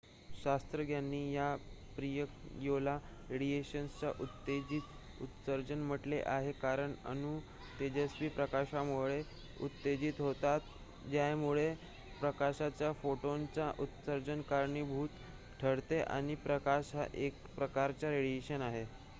"शास्त्रज्ञांनी या प्रक्रियेला "रेडिएशनचे उत्तेजित उत्सर्जन" म्हटले आहे कारण अणू तेजस्वी प्रकाशामुळे उत्तेजित होतात ज्यामुळे प्रकाशाच्या फोटॉनच्या उत्सर्जनास कारणीभूत ठरते आणि प्रकाश हा एक प्रकारचा रेडिएशन आहे.